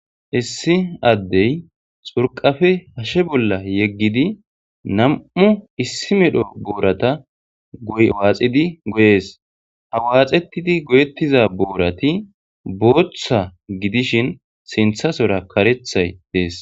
Issi addey xurqafe hashe bolla yeggidi nam'u issi medho boorata goywaaxidi goyees ha waaxetidi goyettiza boorati booththa gidishin sinthasora karethay dees.